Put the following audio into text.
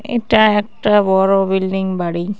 এটা একটা বড়ো বিল্ডিং বাড়ি।